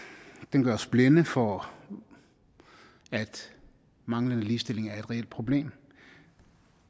gør os blinde for at manglende ligestilling er et reelt problem